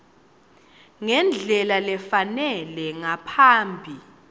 ngendlela lefanele ngaphambi